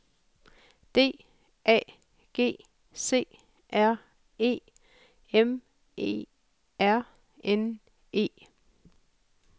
D A G C R E M E R N E